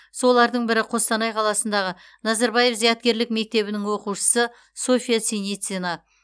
солардың бірі қостанай қаласындағы назарбаев зияткерлік мектебінің оқушысы софия синицина